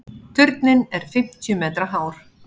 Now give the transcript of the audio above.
Turninn er fimmtíu metra hár.